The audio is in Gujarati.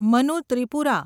મનુ ત્રિપુરા